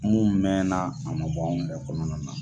Mun mɛnna a ma bɔ anw da kɔnɔna na.